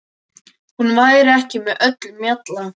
Hún væri ekki með öllum mjalla.